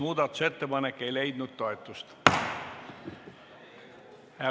Muudatusettepanek ei leidnud toetust.